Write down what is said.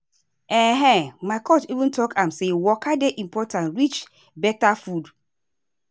ehn my coach even talk am say waka dey important reach better food.